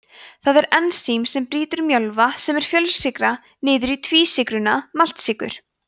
það ensím brýtur mjölva sem er fjölsykra niður í tvísykruna maltsykur